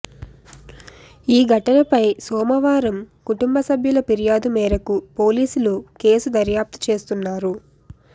ఈ ఘటనపై సోమవారం కుటుంబ సభ్యుల ఫిర్యాదు మేరకు పోలీసులు కేసు దర్యాప్తు చేస్తున్నారు